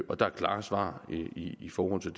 og der er klare svar i forhold til